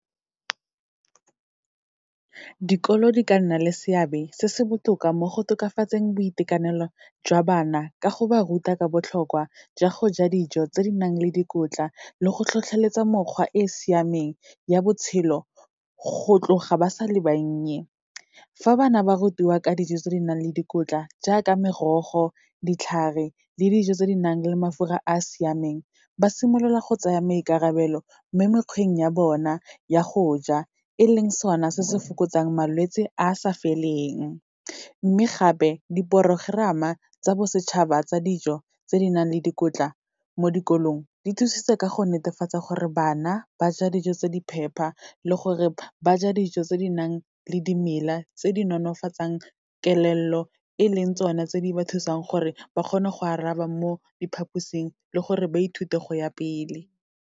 Dikolo di ka nna le seabe se se botoka mo go tokafatseng boitekanelo jwa bana, ka go ba ruta ka botlhokwa jwa go ja dijo tse di nang le dikotla le go tlhotlheletsa mokgwa e e siameng ya botshelo, go tloga ba sa le bannye. Fa bana ba rutiwa ka dijo tse di nang le dikotla, jaaka merogo, ditlhare le dijo tse di nang le mafura a siameng, ba simolola go tsaya maikarabelo mo mekgweng ya bona ya go ja, e leng sona se se fokotsang malwetse a sa feleng. Mme gape, di-programme-a tsa bosetšhaba tsa dijo, tse di nang le dikotla mo dikolong, di thusitse ka go netefatsa gore bana ba ja dijo tse di phepa le gore ba ja dijo tse di nang le dimela tse di nonofatsang kelello, e leng tsona tse di ba thusang gore ba kgone go araba mo diphaposing, le gore ba ithute go ya pele.